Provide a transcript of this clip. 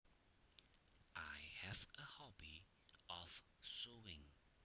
I have a hobby of sewing